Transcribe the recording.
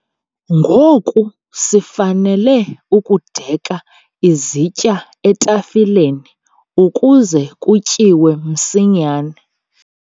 Ngoku sifanele ukudeka izitya etafileni ukuze kutyiwe msinyane.